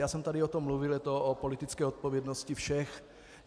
Já jsem tady o tom mluvil, je to o politické odpovědnosti všech.